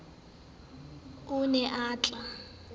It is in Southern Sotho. o ne a tl a